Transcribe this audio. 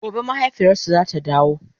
gobe mahaifiyarsu zata dawo